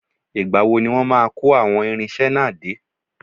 Ìgbà wo ni wọ́n máa ko àwọn irinṣẹ́ náà dé?